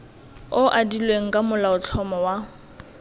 o adilweng ka molaotlhomo wa